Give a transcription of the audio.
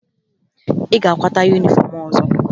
Ị ga-akwata yunifọmụ ọzọ!